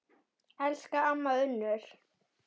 Elsku amma Unnur.